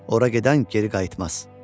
Ora gedən geri qayıtmaz."